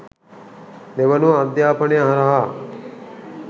දෙවනුව අධ්‍යාපනය හරහා